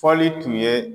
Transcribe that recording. Fɔli tun ye